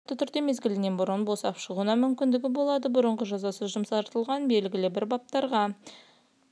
ол адам шартты түрде мезлігінен бұрын босап шығуына мүмкіндігі болады бұрын жазасы жұмсартылатын белгілі бір баптарға